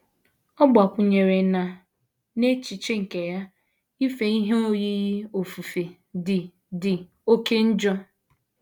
Ọ gbakwụnyere na, n’echiche nke ya, ife ihe oyiyi ofufe dị dị oké njọ.